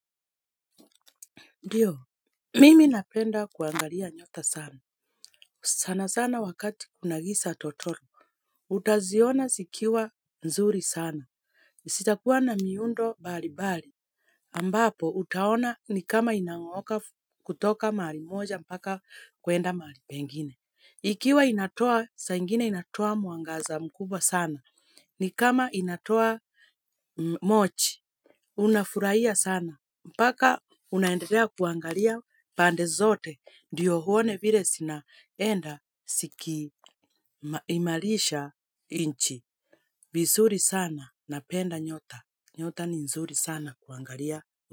Ndiyo, mimi napenda kuangalia nyota sana, sana sana wakati kunagiza totoro, utaziona zikiwa nzuri sana, zitakuwa na miundo mbalimbali, ambapo utaona ni kama inang'ooka kutoka mahali moja mpaka kuenda mahali pengine. Ikiwa inatoa, saa ingine inatoa mwangaza mkubwa sana. Ni kama inatoa moshi, unafurahia sana. Mpaka unaendelea kuangalia pande zote ndiyo uone vile zinaenda zikiimarisha nchi. Vizuri sana napenda nyota. Nyota ni nzuri sana kuangalia.